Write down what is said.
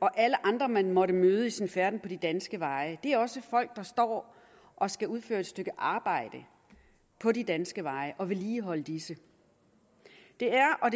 og alle andre man måtte møde i sin færden på de danske veje det er også folk der står og skal udføre et stykke arbejde på de danske veje og vedligeholde disse det er og